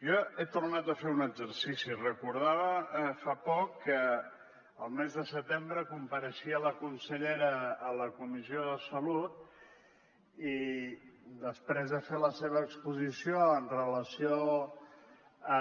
jo he tornat a fer un exercici recordava fa poc que el mes de setembre compareixia la consellera a la comissió de salut i després de fer la seva exposició amb relació a